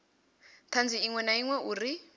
thanzi iṅwe na iṅwe uri